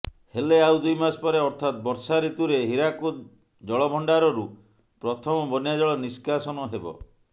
ହେଲେ ଆଉ ଦୁଇମାସ ପରେ ଅର୍ଥାତ୍ ବର୍ଷା ଋତୁରେ ହୀରାକୁଦ୍ ଜଳଭଣ୍ଡାରରୁ ପ୍ରଥମ ବନ୍ୟାଜଳ ନିଷ୍କାସନ ହେବ